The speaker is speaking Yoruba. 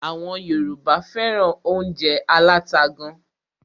Àwọn Yorùbá fẹ́ràn óúnjẹ aláta gán.